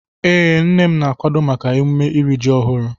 Ee, nne m na-akwado maka emume iri ji ọhụrụ.